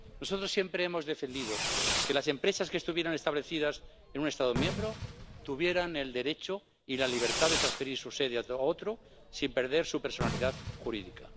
Nosotros siempre hemos defendido que las empresas que estuvieran establecidas en un Estado miembro tuvieran el derecho y la libertad de transferir su sede a otro sin perder su personalidad jurídica.